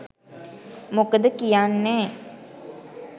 මොකොද කියන්නේ